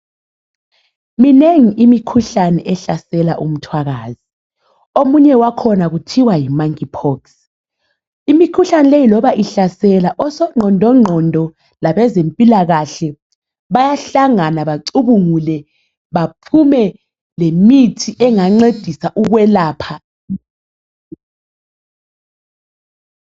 Minengi imikhuhlane ehlasela umthwakazi, omunye wakhona kuthiwa yi monkey pox . Imikhuhlane leyi loba ihlasela, osogqondongqondo labezempilakahle bayahlangana bacubungule baphume lemithi engancedisa ukuyelapha.